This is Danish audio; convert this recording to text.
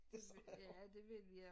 Ja det vil jeg